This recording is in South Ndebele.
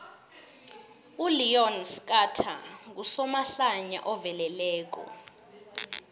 uleon schuster ngusomahlaya oveleleko